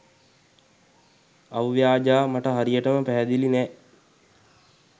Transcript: අව්‍යාජා මට හරියටම පැහැදිලි නෑ